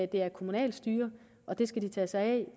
det er et kommunalt styre og de skal tage sig af